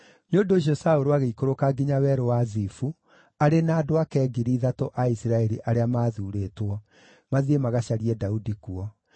Nĩ ũndũ ũcio Saũlũ agĩikũrũka nginya Werũ wa Zifu, arĩ na andũ ake ngiri ithatũ a Isiraeli arĩa maathuurĩtwo, mathiĩ magacarie Daudi kuo.